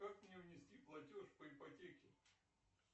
как мне внести платеж по ипотеке